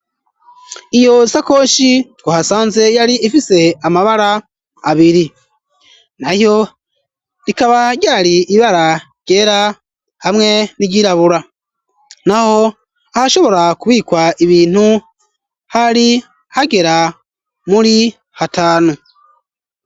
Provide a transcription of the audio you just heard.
Iyo sakoshi twahasanze ,yari ifise amabara abiri, nayo rikaba ryari: ibara ryera, hamwe ni ryirabura, naho hashobora kubikwa ibintu hari hagera muri hatanu.